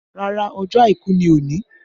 Rárá, ọjọ́ àìkú ni òní